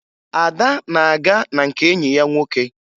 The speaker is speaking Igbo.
Ada na-aga na nke enyi ya nwoke